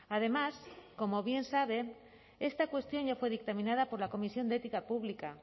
además como bien saben esta cuestión ya fue dictaminado por la comisión de ética pública